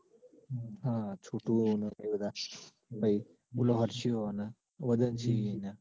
હા છોટુ ને એ બધા ભાઈ પેલો હર્ષયો અને વદનશી ન.